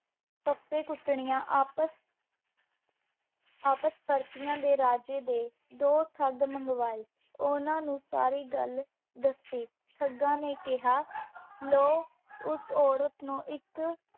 ਫੱਫੇ-ਕੁੱਦਣੀਆਂ ਆਪਸ ਵਾਪਸ ਪਰਤੀਆਂ ਤੇ ਰਾਜੇੇ ਨੇ ਦੇ ਠੰਗ ਮੰਗਵਾਏ। ਉਹਨਾਂ ਨੂੰ ਸਾਰੀ ਗੱਲ ਦੱਸੀ। ਠੱਗਾਂ ਨੇ ਕਿਹਾ, ਲਓ, ਉਸ ਔਰਤ ਨੂੰ ਇੱਕ